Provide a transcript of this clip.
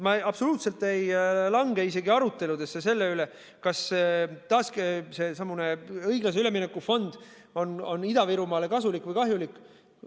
Ma absoluutselt ei lange isegi aruteludesse selle üle, kas seesamune õiglase ülemineku fond on Ida-Virumaale kasulik või kahjulik.